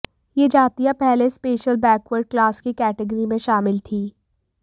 ये जातियां पहले स्पेशल बैकवर्ड क्लास की कैटेगरी में शामिल थीं